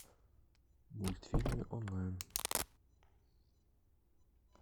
мультфильмы онлайн